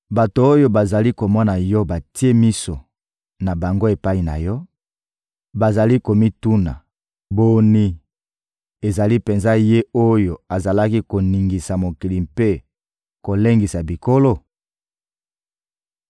Bato oyo bazali komona yo batie miso na bango epai na yo, bazali komituna: ‹Boni, ezali penza ye oyo azalaki koningisa mokili mpe kolengisa bikolo?